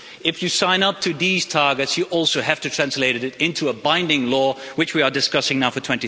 If you sign up to these targets you also have to translate it into a binding law, which we are discussing now for